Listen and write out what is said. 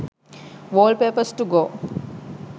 wallpapers to go